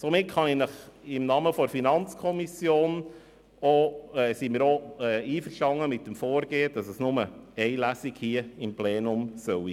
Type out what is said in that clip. Somit ist die FiKo mit dem Vorgehen einverstanden, wonach es nur eine Lesung hier im Plenum geben soll.